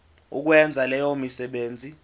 ukwenza leyo misebenzi